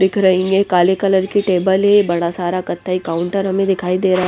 दिख रही हैं काले कलर की टेबल हैं बड़ा सारा कथाई काउंटर हमें दिखाई दे रहा--